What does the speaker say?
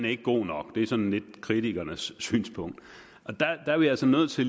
ikke god nok det er sådan lidt kritikernes synspunkt og der er vi altså nødt til